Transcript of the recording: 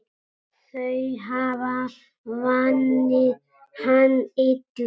Þau hafa vanið hann illa.